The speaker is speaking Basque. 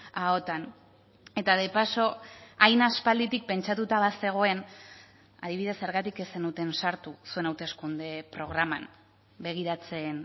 ahotan eta de paso hain aspalditik pentsatuta bazegoen adibidez zergatik ez zenuten sartu zuen hauteskunde programan begiratzen